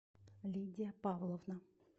лидия павловна